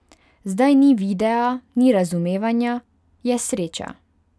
Zdaj ni videa, ni razumevanja, je sreča.